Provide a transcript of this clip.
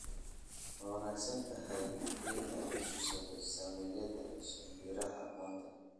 Ma wanaagsan tahay in la iibsado saamiyada shinbiraha maanta?